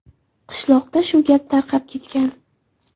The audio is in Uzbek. Qishloqda shu gap tarqab ketgan.